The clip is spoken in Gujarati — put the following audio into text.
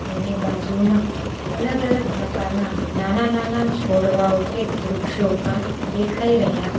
એની બાજુમાં અલગ અલગ પ્રકારના નાના નાના છોડવાઓ કે વૃક્ષો પણ દેખાય રહ્યા --